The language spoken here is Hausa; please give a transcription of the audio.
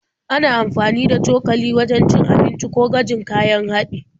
Ana amfani da cokali wajen cin abinci ko gwajin kayan haɗi.